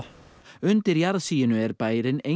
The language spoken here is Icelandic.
undir jarðsiginu er bærinn